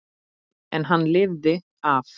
En hann lifði af.